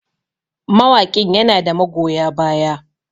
mawaƙin yana da magoya baya